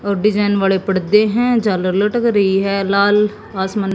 और डिजाइन वाले पड़दे हैं झालर लटक रही है लाल आसमा--